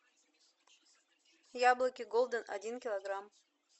яблоки голден один килограмм